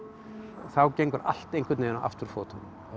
þá gengur allt einhvern veginn á afturfótunum